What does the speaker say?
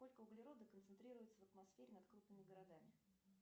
сколько углерода концентрируется в атмосфере над крупными городами